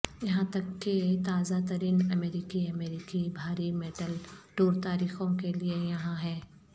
یہاں تک کہ تازہ ترین امریکی امریکی بھاری میٹل ٹور تاریخوں کے لئے یہاں ہیں